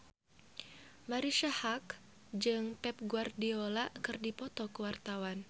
Marisa Haque jeung Pep Guardiola keur dipoto ku wartawan